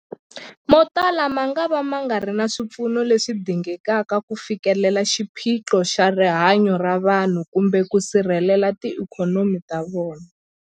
Motala mangava ma nga ri na swipfuno leswi dingekaka ku fikelela xiphiqo xa rihanyu ra vanhu kumbe ku sirhelela tiikhonomi ta vona.